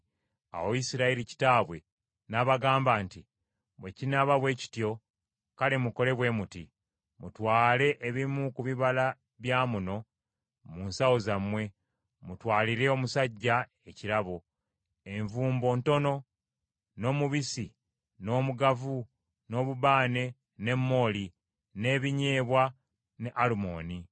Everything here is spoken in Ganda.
Awo Isirayiri kitaabwe n’abagamba nti, “Bwe kinaaba bwe kityo, kale mukole bwe muti: mutwale ebimu ku bibala bya muno mu nsawo zammwe, mutwalire omusajja ekirabo: envumbo ntono, n’omubisi, n’omugavu, n’obubaane ne mooli n’ebinyeebwa ne Alumoni.